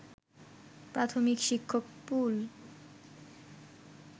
প্রাথমিক শিক্ষক পুল